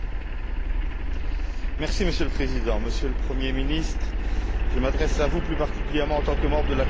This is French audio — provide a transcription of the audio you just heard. Monsieur le Président, Monsieur le premier ministre, je m'adresse à vous plus particulièrement en tant que membre de la commission des affaires sociales.